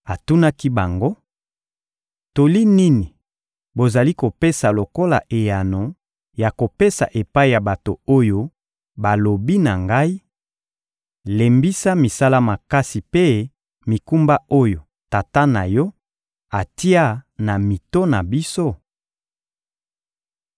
Atunaki bango: — Toli nini bozali kopesa lokola eyano ya kopesa epai ya bato oyo balobi na ngai: «Lembisa misala makasi mpe mikumba oyo tata na yo atia na mito na biso?»